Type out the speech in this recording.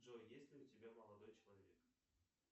джой есть ли у тебя молодой человек